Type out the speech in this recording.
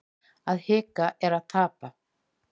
Að hika er að tapa